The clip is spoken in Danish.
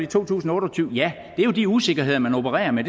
to tusind og otte og tyve ja det er jo de usikkerheder man opererer med